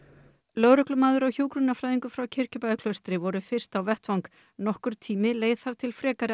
lögreglumaður og hjúkrunarfræðingur frá Kirkjubæjarklaustri voru fyrst á vettvang nokkur tími leið þar til frekari